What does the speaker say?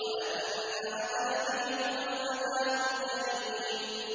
وَأَنَّ عَذَابِي هُوَ الْعَذَابُ الْأَلِيمُ